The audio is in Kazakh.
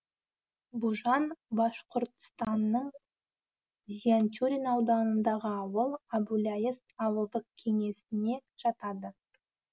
бужан башқұртстанның зианчурин ауданындағы ауыл әбуляйыс ауылдық кеңесіне жатады